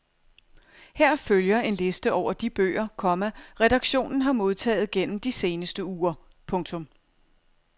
Her følger en liste over de bøger, komma redaktionen har modtaget gennem de seneste uger. punktum